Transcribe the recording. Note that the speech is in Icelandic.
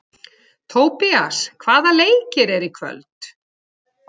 Tobías, hvaða leikir eru í kvöld?